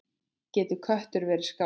Getur köttur verið skáld?